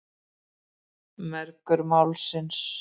Mergur málsins.